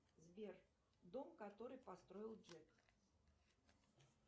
сбер дом который построил джек